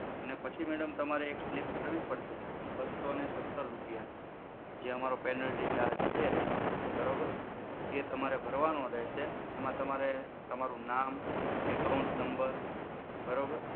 અને પછી madam તમારે એક slip ભરવી પડશે બસો ને સત્તર રૂપિયાની. જે અમારો penalty charge છે. બરોબર? એ તમારે ભરવાનો રહેશે. એમાં તમારે તમારું નામ, account number બરોબર?